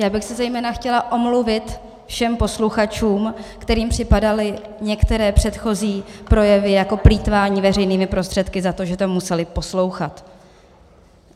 Já bych se zejména chtěla omluvit všem posluchačům, kterým připadaly některé předchozí projevy jako plýtvání veřejnými prostředky, za to, že to museli poslouchat.